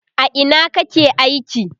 a Ina kake aiki?